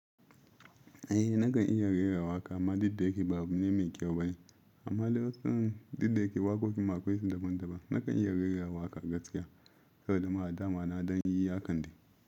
Eh nakan iya rera waƙa amma duk da hake ba abu ne mai kyau ba. Amma dai duk da yake waƙoƙin ma akwai su daban daban. Nakan iya rera waƙa gaskiya saboda ma daman ma na don yi haƙande.